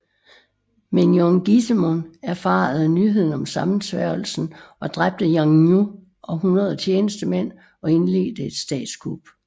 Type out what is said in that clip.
Men Yeon Gaesomun erfarede nyheden om sammensværgelsen og dræbte Yeongnyu og 100 tjenestemænd og indledte et statskup